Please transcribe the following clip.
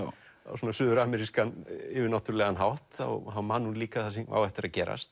svona suður amerískan yfirnáttúrulegan hátt þá man hún líka það sem á eftir að gerast